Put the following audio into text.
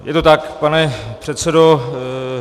Je to tak, pane předsedo.